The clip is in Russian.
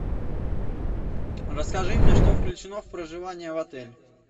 расскажи мне что включено в проживание в отеле